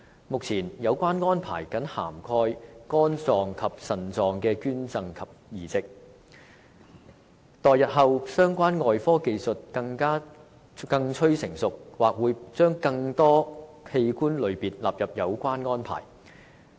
目前，有關安排僅涵蓋肝臟及腎臟的捐贈及移植，待日後相關外科技術更趨成熟，或會把更多器官類別納入有關安排。